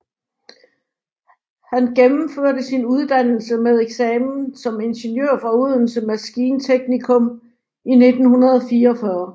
Han gennemførte sin uddannelse med eksamen som ingeniør fra Odense Maskinteknikum i 1944